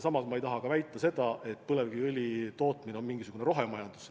Samas ma ei taha ka väita, et põlevkiviõli tootmine on mingisugune rohemajandus.